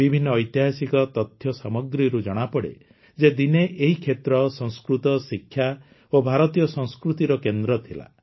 ବିଭିନ୍ନ ଐତିହାସିକ ତଥ୍ୟ ସାମଗ୍ରୀରୁ ଜଣାପଡ଼େ ଯେ ଦିନେ ଏହି କ୍ଷେତ୍ର ସଂସ୍କୃତ ଶିକ୍ଷା ଓ ଭାରତୀୟ ସଂସ୍କୃତିର କେନ୍ଦ୍ର ଥିଲା